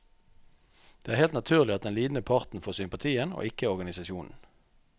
Det er helt naturlig at den lidende parten får sympatien, og ikke organisasjonen.